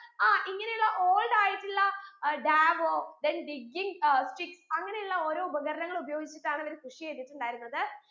അഹ് ഇങ്ങനെയുള്ള old ആയിട്ടുള്ള ഏർ davo then digging അഹ് sticks അങ്ങനെയുള്ള ഓരോ ഉപകരണങ്ങൾ ഉപയോഗിച്ചിട്ടാണ് അവർ കൃഷി ചെയ്തിട്ടുണ്ടായിരുന്നത്